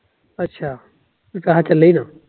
ਅੱਛਾ, ਚੱਲੇ ਈ ਨਾ